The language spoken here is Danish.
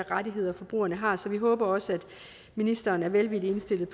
rettigheder forbrugerne har så vi håber også at ministeren er velvilligt indstillet